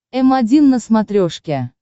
м один на смотрешке